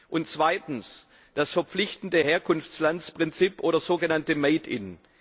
Und zweitens das verpflichtende Herkunftslandprinzip oder sogenannte Made in